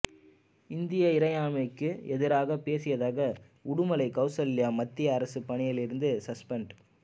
இந்திய இறையாண்மைக்கு எதிராகப் பேசியதாக உடுமலை கவுசல்யா மத்திய அரசுப் பணியிலிருந்து சஸ்பெண்ட்